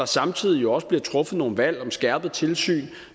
samtidig også bliver truffet nogle valg om et skærpet tilsyn